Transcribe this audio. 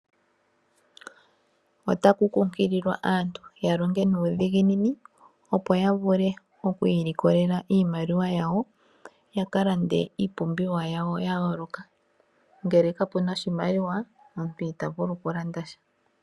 Otaku kunkililwa aantu yalonge nuudhiginini opo yavule okwiilikolela iimaliwa yaka lande iipumbiwa yawo yayooloka. Ngele kapu na oshimaliwa omuntu itavulu okulanda sha.